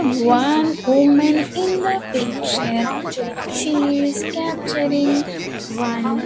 One woman in picture she is capturing one.